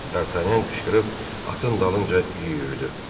Dartanyan qışqırıb atın dalınca yüyürdü.